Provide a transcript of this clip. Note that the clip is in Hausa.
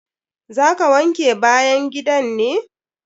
Za ka wanke bayan gidan ne?